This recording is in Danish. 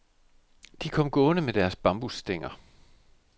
De kom gående med deres bambusstænger.